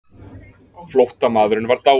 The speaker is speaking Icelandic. Flóttamaðurinn var dáinn.